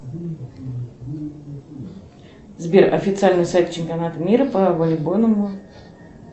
сбер официальный сайт чемпионата мира по волейбольному